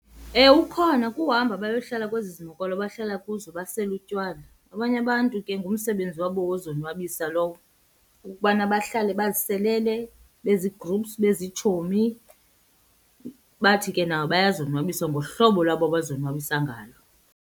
Ewe, ukhona kuhamba bayohlala kwezi zimokolo bahlala kuzo basele utywala. Abanye abantu ke ngumsebenzi wabo wozonwabisa lowo, ukubana bahlale baziselele, bezii-groups, beziitshomi. Bathi ke nabo bayozonwabisa ngohlobo lwabo abazonwabisa ngalo.